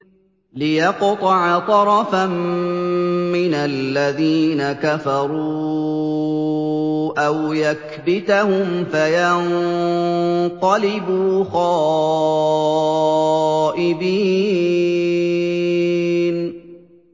لِيَقْطَعَ طَرَفًا مِّنَ الَّذِينَ كَفَرُوا أَوْ يَكْبِتَهُمْ فَيَنقَلِبُوا خَائِبِينَ